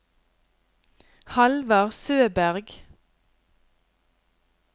Hallvard Søberg